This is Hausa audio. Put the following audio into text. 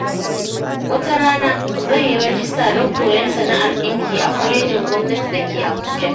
Wata rana, zan yi rajista don koyon sana’ar ɗinki a kwalejin gwamnati da ke Abuja.